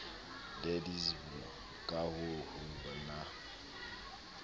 deedsweb ka ha ho na